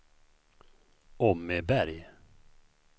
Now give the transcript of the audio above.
Åmmeberg